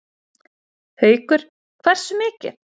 Haukur: Hversu mikið?